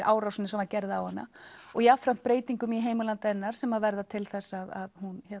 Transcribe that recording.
árásinni sem var gerð á hana og jafnframt breytingum í heimalandi hennar sem verða til þess að hún